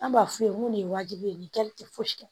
An b'a f'u ye n ko nin ye wajibi ye nin kɛli tɛ fosi kɛ